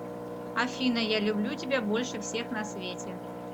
афина я люблю тебя больше всех на свете